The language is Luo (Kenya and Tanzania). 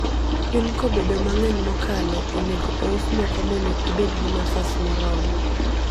gwen kobedo mangeny mokalo, onego ous moko mondo ibed gi nafas moromo